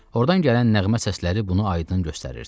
Ordan gələn nəğmə səsləri bunu aydın göstərirdi.